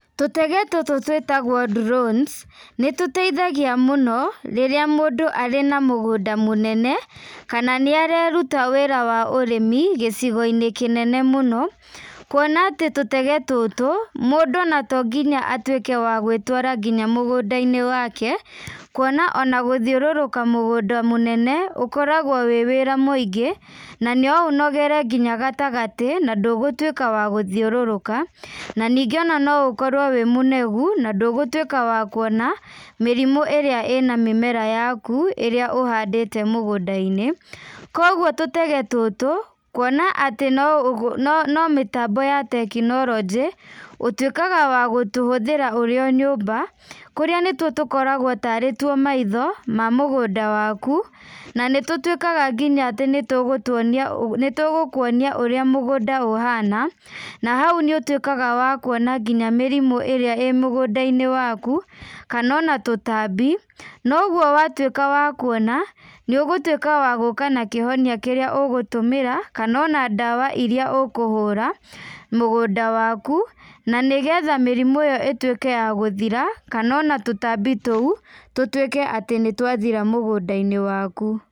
Tutege tũtũ twĩtagwo drones , nĩtũteithagia mũno, rĩrĩa mũndũ arĩ na mũgũnda mũnene, kana nĩ areruta wĩra wa ũrĩmi gĩcigo-inĩ kĩnene mũno, kuona atĩ tũtege tũtũ, mũndũ to nginya atuĩke wa gwĩtwara mũgũnda-inĩ wake, kuona ona gũthiũrũrũka mũgũnda mũnene, ũkoragwo wĩ wĩra mũingĩ ,na no ũnogere nginya gatagatĩ , na ndũgũtuĩka wa gũthiũrũrũka, na ningĩ no ũkorwo wĩ mũnogu na ndũgũtuĩka wa kuona, mĩrimũ ĩrĩa ĩna mĩmera yaku, ĩrĩa ĩhandĩtwo mũgũnda-inĩ, kũguo tũtege tũtũ, kuona atĩ no gĩ no mĩtambo ya tekinorojĩ, ũtuĩkaga wa gũtũhũthĩra ũrĩ o nyũmba , kũrĩa nitwo tũkoragwo tarĩ two maitho ma mũgũnda waku, na nĩ tũtuĩkaga nginya atĩ nĩtũgũtuonia nĩtũgũkuonia ũrĩa mũgũnda ũhana, nahau nĩ ũtuĩkaga wa kuona nginya mĩrimũ ĩrĩa ĩ mũgũnda-inĩ waku, kana ona tũtambi, na ũguo wa tuĩka wa kuona, nĩ ũgũtuĩka wa gũka na kĩhonia kĩrĩa ũgũtũmĩra, kana ona ndawa ĩrĩa ũkũhũra mũgũnda waku, na nĩgetha mĩrimũ ĩyo ĩtuĩka ya gũthira, kana ona tũtambi tũu, tũtuĩke atĩ nĩtwa gũthira mũgũnda-inĩ waku.